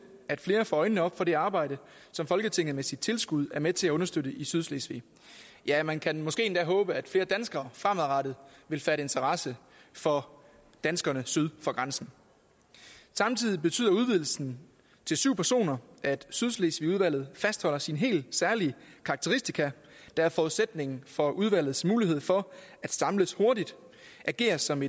at flere får øjnene op for det arbejde som folketinget med sit tilskud er med til at understøtte i sydslesvig ja man kan måske endda håbe at flere danskere fremadrettet vil fatte interesse for danskerne syd for grænsen samtidig betyder udvidelsen til syv personer at sydslesvigudvalget fastholder sine helt særlige karakteristika der er forudsætningen for udvalgets mulighed for at samles hurtigt agere som